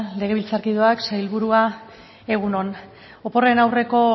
legebiltzarkideak sailburua egun on oporren aurreko